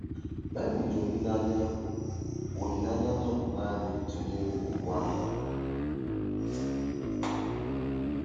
Baịbụl ji olileanya olileanya nzọpụta anyị tụnyere okpu agha.